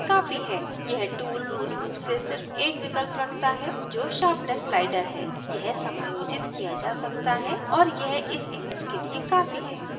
यह tool tool रूप से सिर्फ एक विकल्प रखता है जो sharpness slider है यह समायोजित किया जा सकता है और यह इस image के लिए काफ़ी है